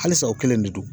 Halisa o kelen de don